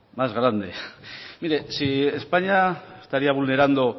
más grande mire si españa estaría vulnerando